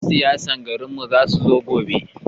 Yan siyasan garin mu za su zo gobe